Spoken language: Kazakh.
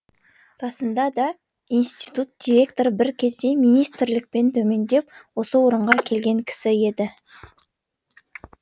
расында да институт директоры бір кезде министрліктен төмендеп осы орынға келген кісі еді